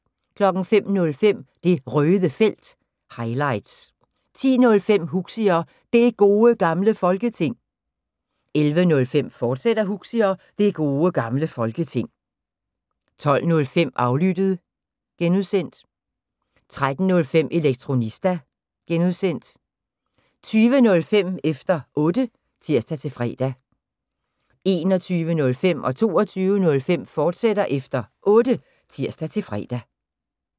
05:05: Det Røde Felt – highlights 10:05: Huxi og Det Gode Gamle Folketing 11:05: Huxi og Det Gode Gamle Folketing, fortsat 12:05: Aflyttet (G) 13:05: Elektronista (G) 20:05: Efter Otte (tir-fre) 21:05: Efter Otte, fortsat (tir-fre) 22:05: Efter Otte, fortsat (tir-fre)